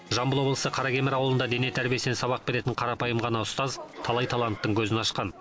жамбыл облысы қаракемер ауылында дене тәрбиесінен сабақ беретін қарапайым ғана ұстаз талай таланттың көзін ашқан